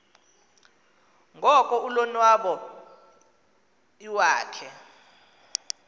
ngoko ulonwabo iwakhe